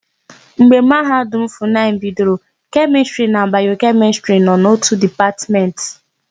Mgbe Mahadum Funayịbidoro, Kemịstịrị na Bayokemịstịrị nọ n'ótù Dịpatmentị.